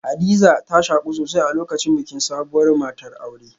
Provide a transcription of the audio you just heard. Hadiza ta shaku sosai a lokacin bikin sabuwar matar aure